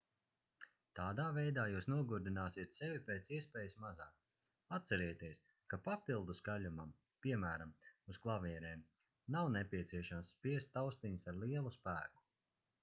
tādā veidā jūs nogurdināsiet sevi pēc iespējas mazāk atcerieties ka papildu skaļumam piemēram uz klavierēm nav nepieciešams spiest taustiņus ar lielu spēku